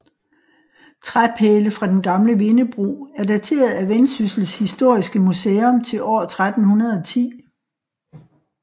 Træpæle fra den gamle vindebro er dateret af Vendsyssel Historiske Museum til år 1310